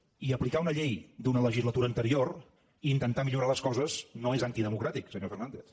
i aplicar una llei d’una legislatura anterior i intentar millorar les coses no és antidemocràtic senyor fernàndez